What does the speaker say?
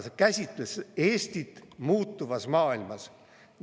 See käsitles Eestit muutuvas maailmas.